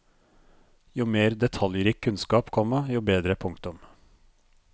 Jo mer detaljrik kunnskap, komma jo bedre. punktum